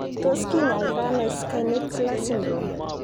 Tos kinyaitaiano Schnitzler syndrome?